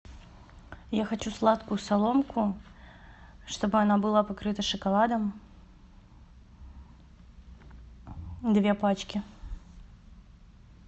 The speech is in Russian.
я хочу сладкую соломку чтобы она была покрыта шоколадом две пачки